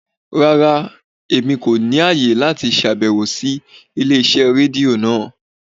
Rárá, Emi ko ni aye lati ṣabẹwo si ile-iṣẹ redio naa